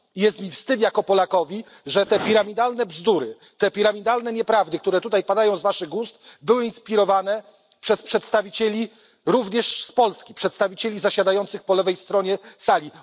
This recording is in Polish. Jest mi wstyd jako Polakowi, że te piramidalne bzdury, te piramidalne nieprawdy, które tutaj padają z Waszych ust, były inspirowane przez przedstawicieli również z Polski, przedstawicieli zasiadających po lewej stronie sali.